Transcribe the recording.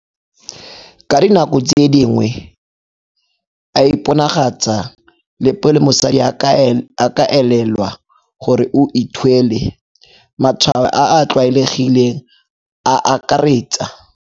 Ka dinako tse dingwe a iponagatsa le pele mosadi a ka elelwa gore o ithwele. Matshwao a a tlwaelegileng a akaraetsa.